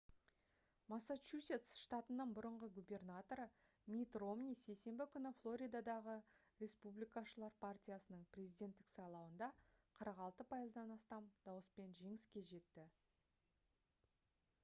массачусетс штатының бұрынғы губернаторы митт ромни сейсенбі күні флоридадағы республикашылар партиясының президенттік сайлауында 46 пайыздан астам дауыспен жеңіске жетті